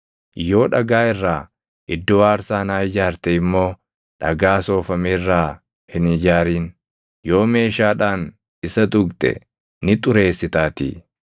Yoo dhagaa irraa iddoo aarsaa naa ijaarte immoo dhagaa soofame irraa hin ijaarin; yoo meeshaadhaan isa tuqxe ni xureessitaatii.